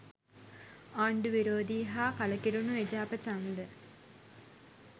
ආණ්ඩු විරෝධී හා කලකිරුණු එජාප ඡන්ද